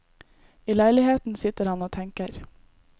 I leiligheten sitter han og tenker.